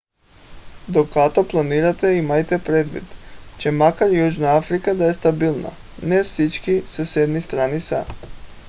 докато планирате имайте предвид че макар южна африка да е стабилна не всички съседни страни са